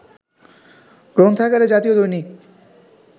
গ্রন্থাগারে জাতীয় দৈনিক